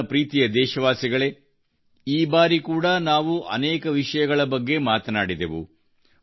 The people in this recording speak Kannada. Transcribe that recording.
ನನ್ನ ಪ್ರೀತಿಯ ದೇಶವಾಸಿಗಳೇ ಈಬಾರಿ ಕೂಡಾ ನಾವು ಅನೇಕ ವಿಷಯಗಳ ಬಗ್ಗೆ ಮಾತನಾಡಿದೆವು